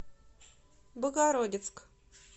богородицк